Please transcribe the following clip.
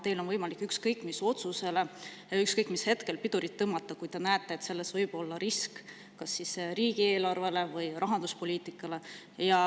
Teil on võimalik ükskõik mis otsusele ükskõik mis hetkel pidurit tõmmata, kui te näete, et selles võib olla risk kas siis riigieelarvele või rahanduspoliitikale.